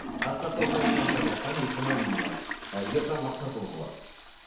асқар тау заем компаниясынан есімім ы ержан мақсатұлы болады